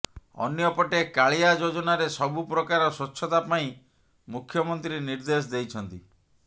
ଅନ୍ୟପଟେ କାଳିଆ ଯୋଜନାରେ ସବୁ ପ୍ରକାର ସ୍ବଚ୍ଛତା ପାଇଁ ମୁଖ୍ୟମନ୍ତ୍ରୀ ନିର୍ଦ୍ଦେଶ ଦେଇଛନ୍ତି